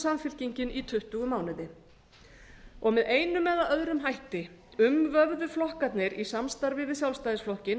samfylkingin í tuttugu mánuði með einum eða öðrum hætti umvöfðu flokkarnir í samstarfi við sjálfstæðisflokkinn